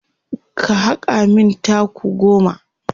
ka haka min taku goma!